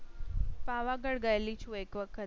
પાવાગઢ ગયેલી છું. એક વખત.